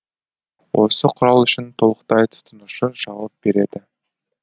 осы құрал үшін толықтай тұтынушы жауап береді